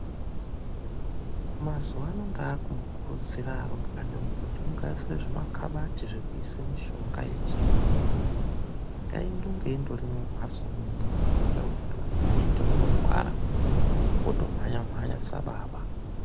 MAZUWANO NDAAKUMURUDZIRA MARUMBWANA IMWI KUTI MUGADZIRE ZVIMAKABATI ZVEKUISA MUSHONGA YECHIYUNGUWO NGAINDONGE INGORIMO MUMHATSO IMWOMWO KUITIRA KUTI KANA PAKAITE UNORWARA, WOTOMHANYA MHANYA SABABA.